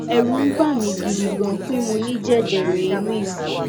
ẹrù ń bà mi gidi gan pé mo ní jẹjẹrẹ inú ìfun